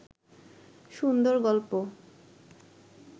সুন্দর গল্প